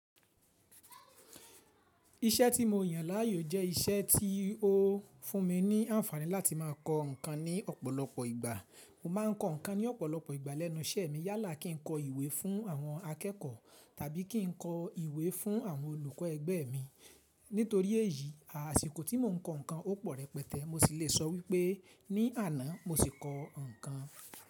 Iṣẹ́ tí mo yàn láàyò jẹ́ iṣẹ́ tí ó fún mi ní àǹfààní láti má a kọ ǹkan ní ọ̀pọ̀lọpọ̀ ìgbà. Mo ma ń kọ ǹkan ní ọ̀pọ̀lọpọ̀ ìgbà lẹ́nu iṣẹ́ mi yálà kí ń kọ ìwé fún àwọn akẹ́kọ̀ọ́ tàbí kí ń kọ ìwé fún àwọn olùkọ́ ẹgbẹ́ mi. Nítorí èyí, àsìkò tí mò ń kọ ǹkan ó pọ̀ rẹpẹtẹ́. Mo sì le sọ wípé ní àná mo sì kọ ǹkan.